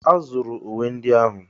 Ee! A zụrụ uwe ndị ahụ.